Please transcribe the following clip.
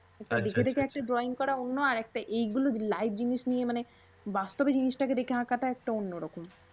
আচ্ছা আচ্ছা আচ্ছা। দেখে দেখে একটা drawing করা অন্য আরেকটা এই গুলো live জিনিস নিয়ে মানে বাস্তবে জিনিস্তাকে দেখে সেটা আঁকাটা একটা অন্যরকম।